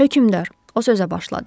Hökümdar, o sözə başladı.